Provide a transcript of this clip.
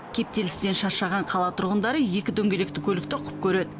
кептелістен шаршаған қала тұрғындары екі дөңгелекті көлікті құп көреді